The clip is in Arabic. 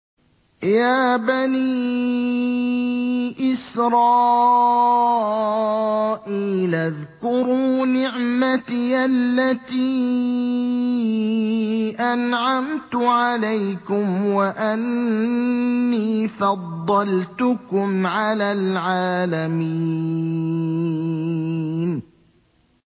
يَا بَنِي إِسْرَائِيلَ اذْكُرُوا نِعْمَتِيَ الَّتِي أَنْعَمْتُ عَلَيْكُمْ وَأَنِّي فَضَّلْتُكُمْ عَلَى الْعَالَمِينَ